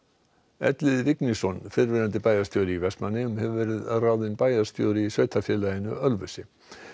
Elliði Vignisson fyrrverandi bæjarstjóri í Vestmannaeyjum hefur verið ráðinn bæjarstjóri í sveitarfélaginu Ölfusi